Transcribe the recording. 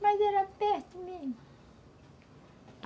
Mas era perto mesmo.